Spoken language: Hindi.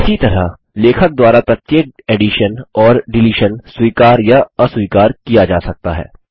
इसी तरह लेखक द्वारा प्रत्येक एडिशन और डिलीशन स्वीकार या अस्वीकार किया जा सकता है